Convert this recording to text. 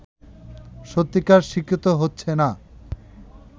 সত্যিকার শিক্ষিত হচ্ছে না